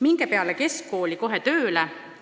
Minge peale keskkooli kohe tööle!